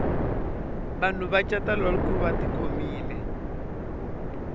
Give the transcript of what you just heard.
vanhu va cata lolko vati khomile